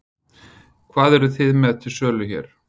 Hvað eruð þið með til sölu hér?